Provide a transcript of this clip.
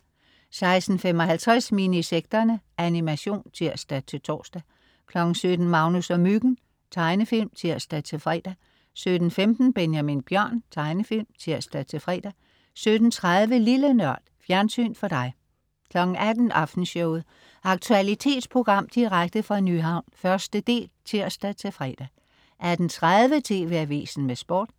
16.55 Minisekterne. Animation (tirs-tors) 17.00 Magnus og Myggen. Tegnefilm (tirs-fre) 17.15 Benjamin Bjørn. Tegnefilm (tirs-fre) 17.30 Lille Nørd. Fjernsyn for dig 18.00 Aftenshowet . Aktualitetsprogram direkte fra Nyhavn, 1. del (tirs-fre) 18.30 TV AVISEN med Sport